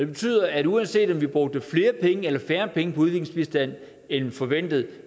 det betyder at uanset om vi brugte flere penge eller færre penge på udviklingsbistand end forventet